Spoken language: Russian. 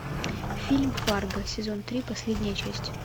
фильм фарго сезон три последняя часть